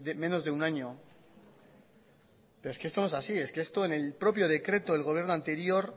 menos de un año pero es que esto no es así es que esto en el propio decreto del gobierno anterior